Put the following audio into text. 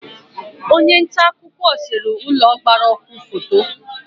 Onye nta akụkọ sere ụlọ gbara ọkụ foto